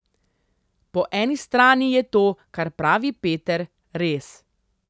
Po eni strani je to, kar pravi Peter, res.